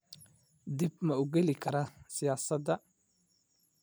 Dib ma u geli karaa siyaasadda?